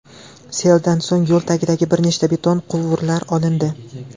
Seldan so‘ng yo‘l tagidagi bir nechta beton quvurlar olindi.